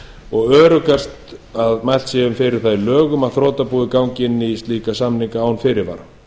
og öruggast væri að mælt væri fyrir um það í lögunum að þrotabúið gangi inn í slíka samninga án fyrirvara